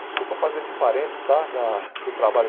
Desculpa fazer esse parêntese tá da do trabalho.